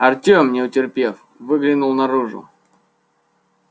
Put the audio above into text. артём не утерпев выглянул наружу